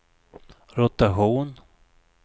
rotation